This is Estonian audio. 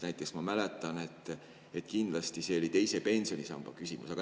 Näiteks ma mäletan, et kindlasti oli see nii teise pensionisamba küsimuses.